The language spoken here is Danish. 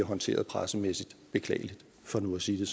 håndteret pressemæssigt beklageligt for nu at sige